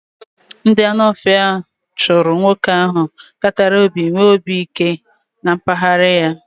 Ndị Anu ofia chụrụ nwoke ahụ katara obi nwee obi ike na mpaghara ya